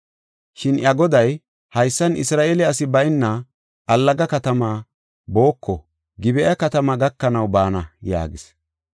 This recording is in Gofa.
Shin iya goday, “Haysan, Isra7eele asi bayna allaga katamaa booko. Gib7a katamaa gakanaw baana” yaagis.